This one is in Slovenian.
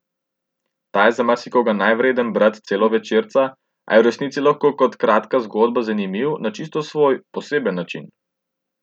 Ta je za marsikoga manjvreden brat celovečerca, a je v resnici lahko kot kratka zgodba zanimiv na čisto svoj, poseben način.